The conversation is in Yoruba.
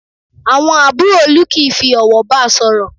Àwọn àbúrò Olú kìí fi ọ̀wọ̀ ba sọ̀rọ̀